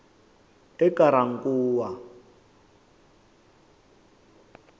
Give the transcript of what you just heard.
egarankuwa